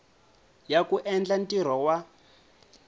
ya ku endla ntirho wa